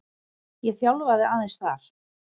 Ég þjálfaði aðeins þar.